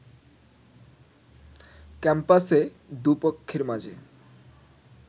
ক্যাম্পাসে দুপক্ষের মাঝে